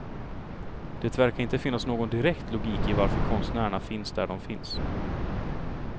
Det verkar inte finnas någon direkt logik i varför konstnärerna finns där de finns.